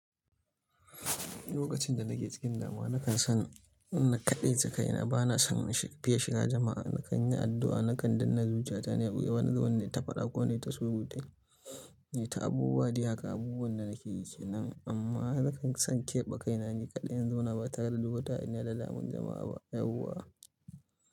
Lokacin da nake cikin damuwa nakan san na kaɗaice kaina. Bana son fiya shiga jama'a. Nakan yi addu'a, nakan danne zuciyata, na wani zanin nayi ta faɗa ko nayi ta surutai nayi ta abubuwa. Dai haka abubuwan da nake yi ke nan amma nakan san keɓe kaina ni kaɗai in zauna ba tare da duk wuta hayaniya da damuwan jama'a ba yauwa.